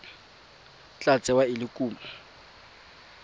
tla tsewa e le kumo